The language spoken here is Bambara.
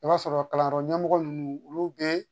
I b'a sɔrɔ kalanyɔrɔ ɲɛmɔgɔ ninnu olu bɛ